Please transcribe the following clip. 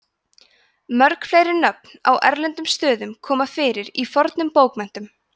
mörg fleiri nöfn á erlendum stöðum koma fyrir í fornum bókmenntum